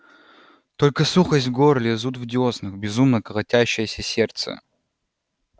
только сухость в горле зуд в дёснах безумно колотящееся сердце